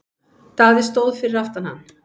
Daði stóð fyrir aftan hann.